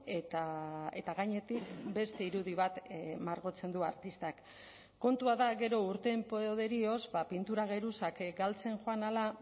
eta gainetik beste irudi bat margotzen du artistak kontua da gero urteen poderioz pintura geruzak galtzen joan ahala